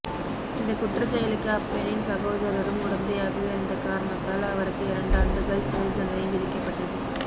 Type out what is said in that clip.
இந்த குற்றச்செயலுக்கு அப்பெண்ணின் சகோதரரும் உடந்தையாக இருந்த காரணத்தால் அவருக்கு இரண்டாண்டுகள் சிறை தண்டனை விதிக்கப்பட்டது